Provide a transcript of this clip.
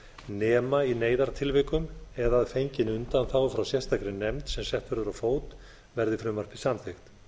nema í neyðartilvikum eða að fenginni undanþágu frá sérstakri nefnd sem sett verður á fót verði frumvarpið samþykkt